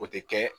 O tɛ kɛ